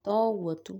to ũguo tu